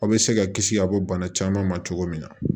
Aw bɛ se ka kisi ka bɔ bana caman ma cogo min na